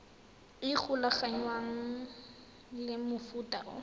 e golaganngwang le mofuta o